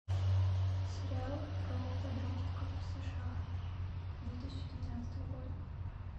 сериал про подростков сша две тысячи девятнадцатого года